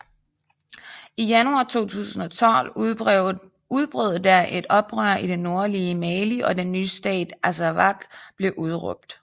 I januar 2012 udbrød der et oprør i det nordlige Mali og den nye stat Azawad blev udråbt